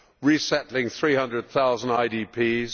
for resettling 300000 IDPs